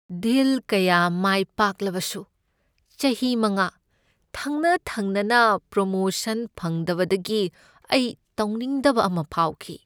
ꯗꯤꯜ ꯀꯌꯥ ꯑꯃ ꯃꯥꯏꯄꯥꯛꯂꯕꯁꯨ ꯆꯍꯤ ꯃꯉꯥ ꯊꯪꯅ ꯊꯪꯅꯅ ꯄ꯭ꯔꯣꯃꯣꯁꯟ ꯐꯪꯗꯕꯗꯒꯤ ꯑꯩ ꯇꯧꯅꯤꯡꯗꯕ ꯑꯃ ꯐꯥꯎꯈꯤ꯫